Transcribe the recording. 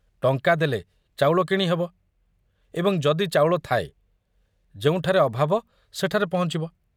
ଟଙ୍କା ଦେଲେ ଚାଉଳ କିଣି ହେବ ଏବଂ ଯଦି ଚାଉଳଥାଏ, ଯେଉଁଠାରେ ଅଭାବ ସେଠାରେ ପହଞ୍ଚିବ।